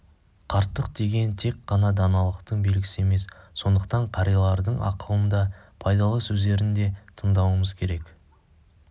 қарттық деген тек қана даналықтың белгісі емес сондықтан қариялардың ақылын да пайдалы сөздерін де тыңдауымыз керек